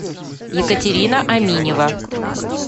екатерина аминева